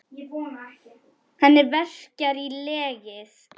Hana verkjar í legið.